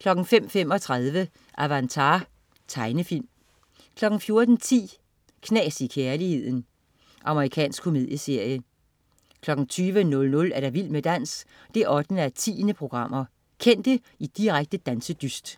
05.35 Avatar. Tegnefilm 14.10 Knas i kærligheden. Amerikansk komedieserie 20.00 Vild med dans 8:10. Kendte i direkte dansedyst.